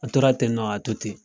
An tora tennɔ ka to ten.